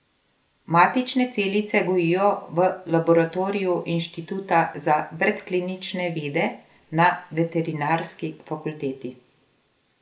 Matične celice gojijo v laboratoriju Inštituta za predklinične vede na veterinarski fakulteti.